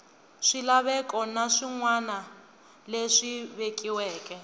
swilaveko na swinawana leswi vekiweke